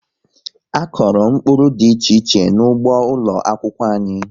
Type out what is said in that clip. A kọrọ mkpụrụ dị iche iche n'ụgbọ ụlọ akwụkwọ anyị